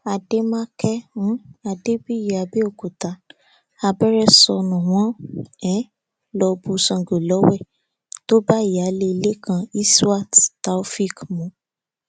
àdémáké um adébíyí àbẹòkúta abẹrẹ sọnù wọn um lọ bu sango lọwẹ tó bá ìyáálé ilé kan isiwát tàófẹẹk mu